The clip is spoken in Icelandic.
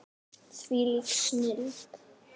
Þvílík snilld.